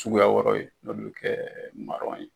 Cuguya wɛrɛ ye n'u bɛ kɛ ma